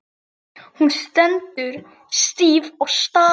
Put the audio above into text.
Hún stendur stíf og starir.